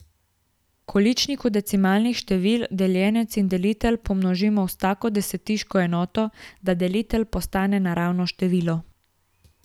V količniku decimalnih števil deljenec in delitelj pomnožimo s tako desetiško enoto, da delitelj postane naravno število.